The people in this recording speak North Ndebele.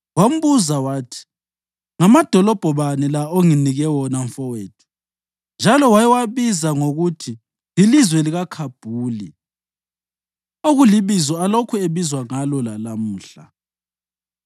Wambuza wathi, “Ngamadolobho bani la onginike wona, mfowethu?” njalo wayewabiza ngokuthi yilizwe leKhabhuli, okulibizo alokhu ebizwa ngalo lalamuhla.